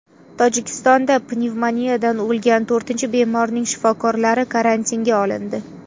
Tojikistonda pnevmoniyadan o‘lgan to‘rtinchi bemorning shifokorlari karantinga olindi.